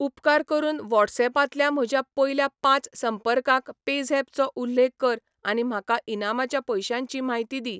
उपकार करून व्हॉट्सऍपांतल्या म्हज्या पयल्या पांच संपर्कांक पेझॅप चो उल्लेख कर आनी म्हाका इनामाच्या पयशांची म्हायती दी.